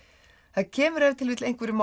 það kemur ef til vill einhverjum á